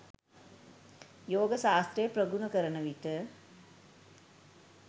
යෝග ශාස්ත්‍රය ප්‍රගුණ කරන විට